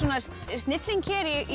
snilling